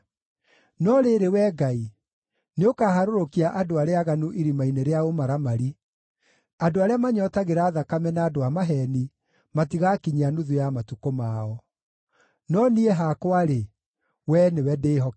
No rĩrĩ, Wee Ngai, nĩũkaharũrũkia andũ arĩa aaganu irima-inĩ rĩa ũmaramari; andũ arĩa manyootagĩra thakame na andũ a maheeni matigaakinyia nuthu ya matukũ mao. No niĩ hakwa-rĩ, Wee nĩwe ndĩĩhokete.